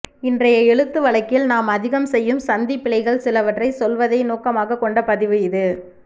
இன்றைய எழுத்து வழக்கில் நாம் அதிகம் செய்யும் சந்திப்பிழைகள் சிலவற்றைச் சொல்வதை நோக்கமாகக் கொண்ட பதிவு இது